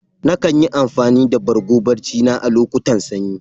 Na kan yi amfani da Bargo barci na a locutan sanyi.